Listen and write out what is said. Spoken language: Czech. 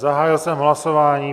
Zahájil jsem hlasování.